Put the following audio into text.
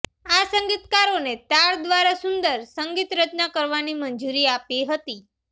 આ સંગીતકારોને તાર દ્વારા સુંદર સંગીત રચના કરવાની મંજૂરી આપી હતી